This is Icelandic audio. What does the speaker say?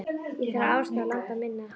Ég þarf á aðstoð landa minna að halda.